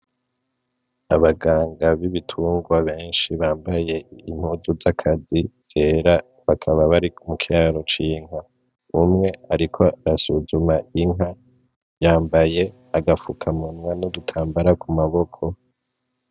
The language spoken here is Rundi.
Abaganga bibitungwa benshi bambaye impuzu z,akazi zera bakaba bari mukiraro c,inka umwe ariko asuzuma inka yambaye agapfukamunwa n,igitambara ku maboko .